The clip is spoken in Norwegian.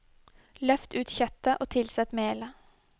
Løft ut kjøttet og tilsett melet.